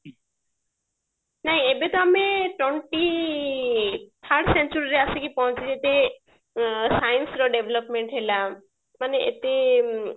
ନାଇଁ ଏବେ ତ ଆମେ twenty third century ରେ ଆସିକି ପହଞ୍ଚିଛେ ଉଁ science ର develop ହେଲା ମାନେ ଏତେ